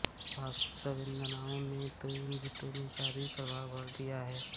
पावसी संवेदनाओं ने तो इन गीतों में जादुई प्रभाव भर दिया है